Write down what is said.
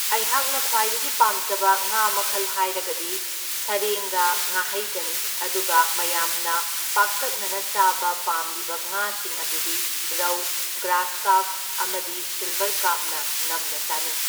ꯑꯩꯍꯥꯛꯅ ꯈ꯭ꯋꯥꯏꯗꯒꯤ ꯄꯥꯝꯖꯕ ꯉꯥ ꯃꯈꯜ ꯍꯥꯏꯔꯒꯗꯤ ꯁꯔꯦꯡꯒ ꯉꯥꯍꯩꯒꯅꯤ, ꯑꯗꯨꯒ ꯃꯌꯥꯝꯅ ꯄꯥꯛꯇꯛꯅꯅ ꯆꯥꯕ ꯄꯥꯝꯂꯤꯕ ꯉꯥꯁꯤꯡ ꯑꯗꯨꯗꯤ ꯔꯧ, ꯒ꯭ꯔꯥꯁꯀꯥꯔꯞ ꯑꯃꯗꯤ ꯁꯤꯜꯕꯔꯀꯥꯞꯅ ꯅꯝꯅ ꯆꯥꯅꯩ꯫